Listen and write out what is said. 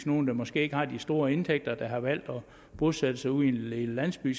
nogle der måske ikke har de store indtægter der har valgt at bosætte sig ude i en lille landsby